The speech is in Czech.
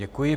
Děkuji.